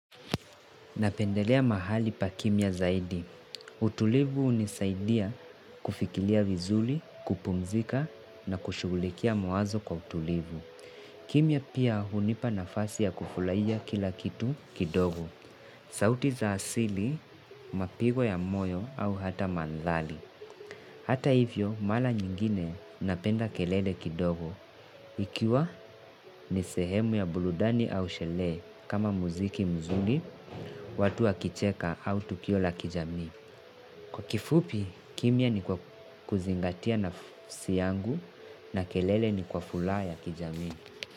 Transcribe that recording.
Napendelea mahali pa kimya zaidi. Utulivu unisaidia kufikilia vuzuli, kupumzika na kushulikia mawazo kwa utulivu. Kimya pia hunipa nafasi ya kufulaija kila kitu kidogo. Sauti za asili, mapigo ya moyo au hata mandhali. Hata hivyo mala nyingine napenda kelele kidogo ikiwa ni sehemu ya buludani au shelee kama muziki mzuli watu wakicheka au tukio la kijami. Kwa kifupi kimya ni kwa kuzingatia nafsi yangu na kelele ni kwa fulaa ya kijami.